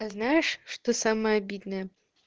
а знаешь что самое обидное